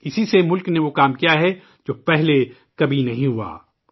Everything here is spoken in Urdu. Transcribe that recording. اسی سے ملک نے وہ کام کیا ہے جو پہلے کبھی نہیں ہوا